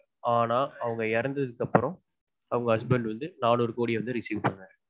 ஆனா அவங்க இறத்ததுக்கு அப்புறம் அவங்க husband வந்து நானூறு கோடிய வந்து receive பண்ணாங்க